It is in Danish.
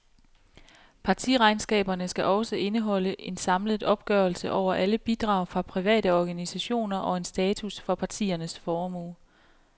Partiregnskaberne skal også indeholde en samlet opgørelse over alle bidrag fra private og organisationer og en status for partiernes formue.